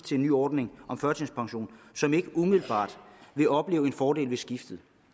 den nye ordning om førtidspension og som ikke umiddelbart vil opleve en fordel ved skiftet